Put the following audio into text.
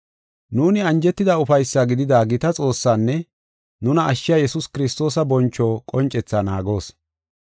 Nuuni anjetida ufaysaa gidida gita Xoossaanne nuna ashshiya Yesuus Kiristoosa boncho qoncethaa naagoos.